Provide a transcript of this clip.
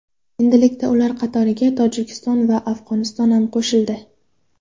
Endilikda ular qatoriga Tojikiston va Afg‘oniston ham qo‘shildi.